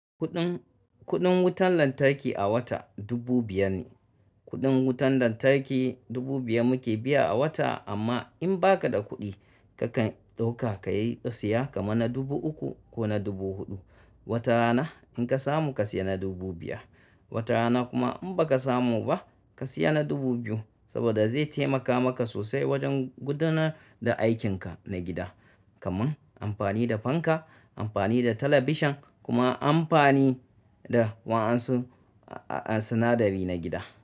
Kuɗin, kuɗin wutan lantarki a wata dubu biyar ne. Kuɗin wutan lantarki dubu biyar muke biya a wata amma in baka da kuɗi kakan ɗauka ka yi ɗau siya kama na dubu uku ko na dubu huɗu. Wata rana in ka samu ka siya na dubu biyar, wata rana kuma in baka samu ba ka siya na dubu biyu saboda zai taimaka maka sosai wajen gudanar da aikin ka na gida kaman amfani da fanka, amfani da talabishan kuma amfani da wa'ansun, sinadari na gida.